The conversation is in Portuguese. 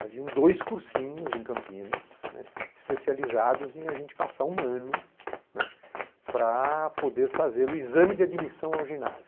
Havia dois cursinhos em Campinas, né, especializados em a gente passar um ano, né, para poder fazer o exame de admissão ao ginásio.